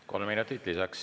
Kolm minutit lisaks.